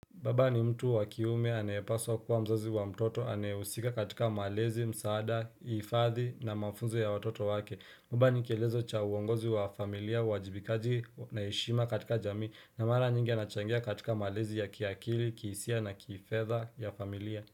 Baba ni mtu wakiume, anaye paswa kuwa mzazi wa mtoto, anaye husika katika malezi, msaada, hifadhi na mafunze ya watoto wake. Baba ni kielezo cha uongozi wa familia, uwajibikaji na heshima katika jamii, na mara nyingi anachangia katika malezi ya kiakili, kisia na kifedha ya familia.